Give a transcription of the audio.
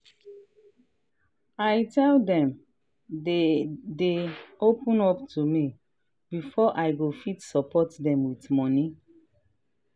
i tell dem dey dey open up to me before i go fit support dem with money.